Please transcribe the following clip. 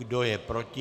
Kdo je proti?